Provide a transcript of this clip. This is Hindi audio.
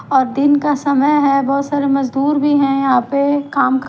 और दिन का समय है बहोत सारे मजदूर भी है यहां पे काम कर--